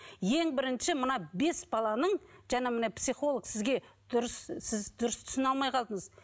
ең бірінші мына бес баланың жаңа мына психолог сізге дұрыс сіз дұрыс түсіне алмай қалдыңыз